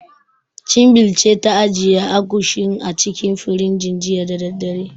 Chinbil ce ta ajiye Agushin a cikin firinji, jiya da daddare.